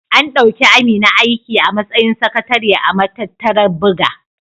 An ɗauki Amina aiki a matsayin sakatare a matattarar buga.